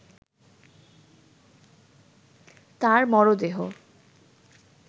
তার মরদেহ